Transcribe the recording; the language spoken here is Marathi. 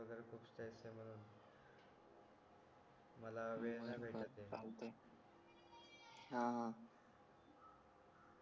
मला वेळ नाही भेटत आहे हां हां